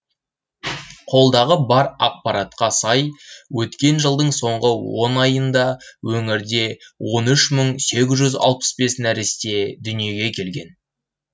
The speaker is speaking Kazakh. қолдағы бар ақпаратқа сай өткен жылдың соңғы он айында өңірде он үш мың сегіз жүз алпыс бес нәресте дүниеге келген